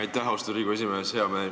Aitäh, austatud Riigikogu esimees!